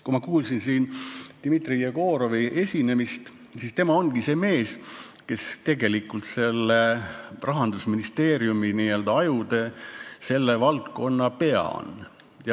Kui ma kuulsin Dmitri Jegorovi esinemist, siis tema ongi see mees, kes tegelikult on Rahandusministeeriumi n-ö ajudest selle valdkonna pea.